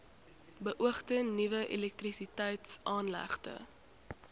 beoogde nuwe elektrisiteitsaanlegte